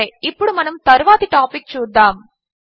సరే ఇప్పుడు మనము తరువాతి టాపిక్ చూద్దాము